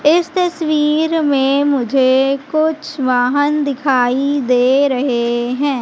इस तस्वीर में मुझे कुछ वाहन दिखाई दे रहे है।